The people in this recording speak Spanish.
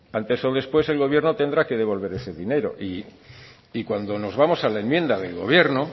antes o después el gobierno tendrá que devolver ese dinero y cuando nos vamos a la enmienda del gobierno